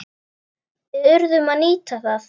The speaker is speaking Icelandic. Við urðum að nýta það.